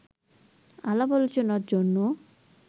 আলাপ-আলোচনার জন্য